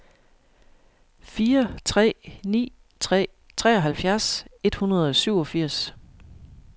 fire tre ni tre treoghalvfjerds et hundrede og syvogfirs